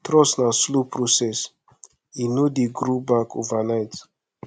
trust na slow process e no dey grow back overnight